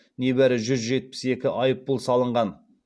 небәрі жүз жетпіс екі айыппұл салынған